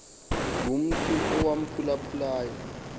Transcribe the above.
ngumntu owamphula phulayo